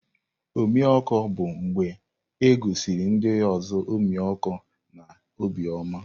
Ọmịiko bụ mgbe e gosiri ndị ọzọ ọmịiko na obiọma.